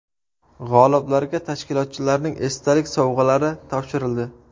G‘oliblarga tashkilotchilarning esdalik sovg‘alari topshirildi.